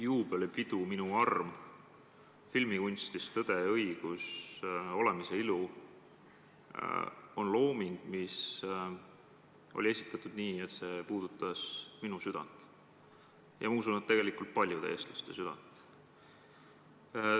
Juubelipidu "Minu arm", filmikunstis "Tõde ja õigus", "Olemise ilu" on looming, mis oli esitatud nii, et see puudutas minu südant ja ma usun, et tegelikult ka paljude teiste eestlaste südant.